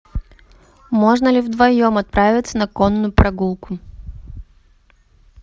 можно ли вдвоем отправиться на конную прогулку